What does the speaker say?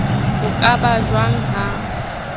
ho ka ba jwang ha